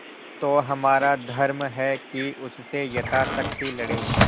तो हमारा धर्म है कि उससे यथाशक्ति लड़ें